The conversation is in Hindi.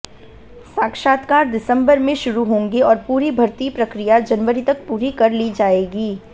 साक्षात्कार दिसंबर में शुरू होंगे और पूरी भर्ती प्रक्रिया जनवरी तक पूरी कर ली जाएगी